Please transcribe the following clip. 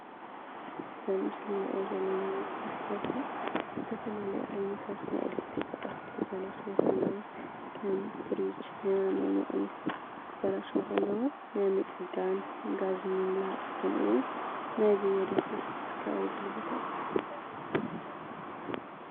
እዚ ኣብ ምስሊ ንሪኦ ዘለና ናይ ስራሕ ዘርፊ ተፈላለዩ ዓይነታት ናይ ኤለክትሪክ ኣቑሑ ክበላሸዉ ከለዉ ፈርኖ፡ ፍርጅ ክበላሸዉ ከለዉ ንምፅጋን፣ ጋዝ ምምላእ ከምኡውን ናይ ብየዳ ስራሕትታት ዝካየደሉ ቦታ እዩ፡፡